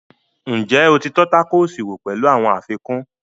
Ǹjẹ́ o ti tọ́ tákòòsì wò pẹ̀lú àwọn àfikún?